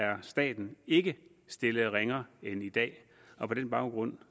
er staten ikke stillet ringere end i dag og på den baggrund